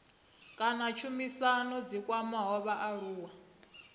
kana tshumisano dzi kwamaho vhaaluwa